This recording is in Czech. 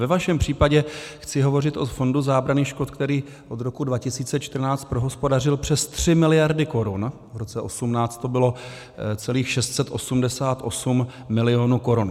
Ve vašem případě chci hovořit o Fondu zábrany škod, který od roku 2014 prohospodařil přes 3 miliardy korun, v roce 2018 to bylo celých 688 milionů korun.